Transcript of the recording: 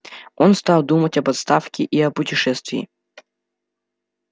он стал думать об отставке и о путешествии